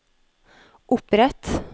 opprett